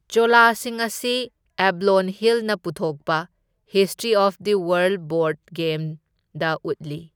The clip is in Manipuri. ꯆꯣꯂꯥꯁꯤꯡ ꯑꯁꯤ ꯑꯦꯕꯂꯣꯟ ꯍꯤꯜꯅ ꯄꯨꯊꯣꯛꯄ, ꯍꯤꯁꯇ꯭ꯔꯤ ꯑꯣꯐ ꯗꯤ ꯋꯥꯔꯜꯗ ꯕꯣꯔꯗ ꯒꯦꯝꯗ ꯎꯠꯂꯤ꯫